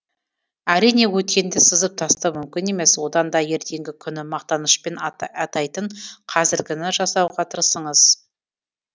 әрине өткенді сызып тастау мүмкін емес одан да ертеңгі күні мақтанышпен атайтын қазіргіні жасауға тырысыңыз